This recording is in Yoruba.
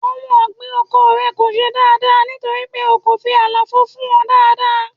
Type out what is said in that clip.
Ohun ọ̀gbìn oko rẹ kò ṣe dáadáa nítorí pé o kò fi àlàfo fún wọn dáadáa.